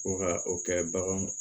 Ko ka o kɛ baganw